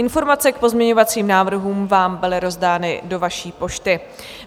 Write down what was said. Informace k pozměňovacím návrhům vám byly rozdány do vaší pošty.